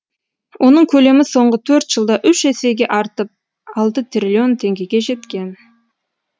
оның көлемі соңғы төрт жылда үш есеге артып алты триллион теңгеге жеткен